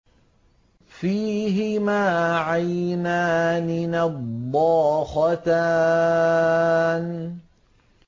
فِيهِمَا عَيْنَانِ نَضَّاخَتَانِ